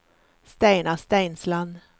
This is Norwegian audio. Steinar Steinsland